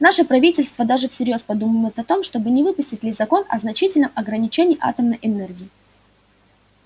наше правительство даже всерьёз подумывает о том не выпустить ли закон о значительном ограничении атомной энергии